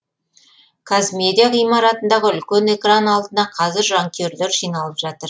қазмедиа ғимаратындағы үлкен экран алдына қазір жанкүйерлер жиналып жатыр